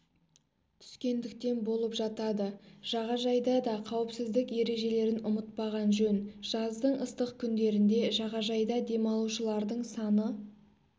түскендіктен болып жатады жағажайда да қауіпсіздік ережелерін ұмытпаған жөн жаздың ыстық күндерінде жағажайда демалушылардың саны